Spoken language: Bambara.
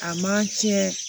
A man tiɲɛ